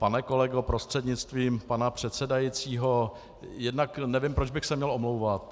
Pane kolego prostřednictvím pana předsedajícího, jednak nevím, proč bych se měl omlouvat.